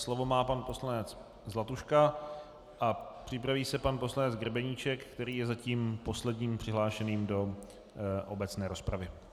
Slovo má pan poslanec Zlatuška a připraví se pan poslanec Grebeníček, který je zatím posledním přihlášeným do obecné rozpravy.